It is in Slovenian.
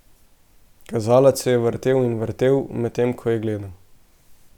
Kazalec se je vrtel in vrtel, medtem ko jo je gledal.